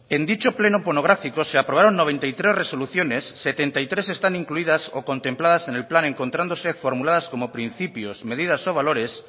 en dicho pleno monográfico se aprobaron noventa y tres resoluciones setenta y tres están incluidas o contempladas en el plan encontrándose formuladas como principios medidas o valores